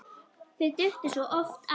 Þau duttu svo oft af.